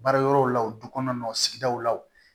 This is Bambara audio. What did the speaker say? Baara yɔrɔw la du kɔnɔ sigidaw la wo